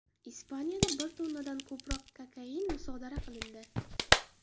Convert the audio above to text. Ispaniyada bir tonnadan ko‘proq kokain musodara qilindi.